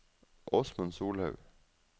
Åsmund Solhaug